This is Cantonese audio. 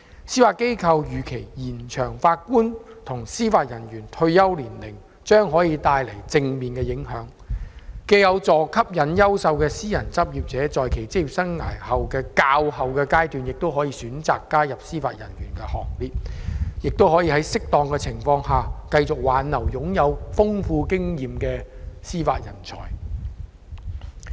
司法機構預期延長法官及司法人員退休年齡將帶來正面影響，既有助吸引優秀的私人執業者在其職業生涯較後階段加入司法人員行列，亦可以在適當情況下挽留擁有豐富經驗的司法人才。